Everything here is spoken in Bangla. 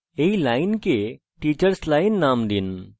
এই লাইনকে teachers line name দিন